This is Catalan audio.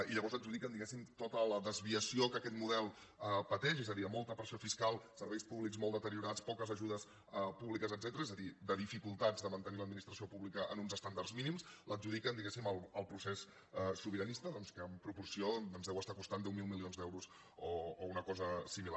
i llavors adjudiquen diguéssim tota la desviació que aquest model pateix és a dir molta pressió fiscal serveis públics molt deteriorats poques ajudes públiques etcètera és a dir de dificultats de mantenir l’administració pública en uns estàndards mínims l’adjudiquen diguéssim al procés sobiranista doncs que en proporció ens deu estar costant deu mil milions d’euros o una cosa similar